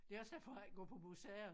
Det er også derfor jeg ikke går på museer